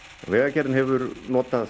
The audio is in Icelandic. vegagerðin hefur notað